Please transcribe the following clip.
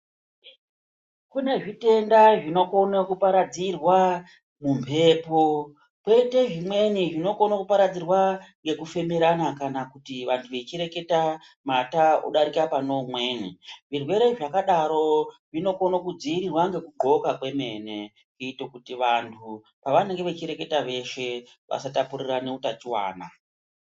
Kune zvitenda zvinokona kuparadzirwa mumhepo kuito zvimweni zvinokona kuparadzirwa ngekufemerana kana kuti vantu vechireketa mata odarika pane umweni. Zvirwere zvakadaro zvinokona kudziirirwa ngekudxoka kwemene kuitira kuti vantu pavanenge vachireketa veshe vasatapurirana utachiwana.